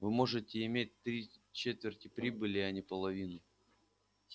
вы можете иметь три четверти прибыли а не половину